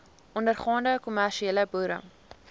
ondergaande kommersiële boere